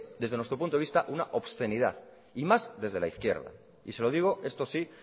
desde nuestro punto de vista una obscenidad y más desde la izquierda y se lo digo esto sí